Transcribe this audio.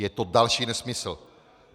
Je to další nesmysl.